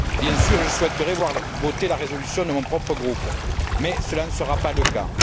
Bien sûr, je souhaiterais voir votée la résolution de mon propre groupe, mais cela ne sera pas le cas.